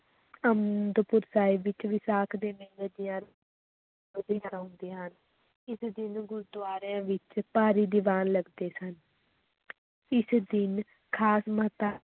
ਅਨੰਦਪੁਰ ਸਾਹਿਬ ਵਿੱਚ ਵਿਸਾਖ ਦੇ ਮੇਲੇ ਦੀਆਂ ਹੁੰਦੀਆਂ ਹਨ, ਇਸ ਦਿਨ ਗੁਰਦੁਆਰਿਆਂ ਵਿਚ ਭਾਰੀ ਦੀਵਾਨ ਲਗਦੇ ਸਨ ਇਸ ਦਿਨ ਖ਼ਾਸ